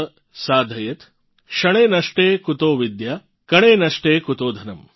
क्षणे नष्टे कुतो विद्या कणे नष्टे कुतो धनम् ||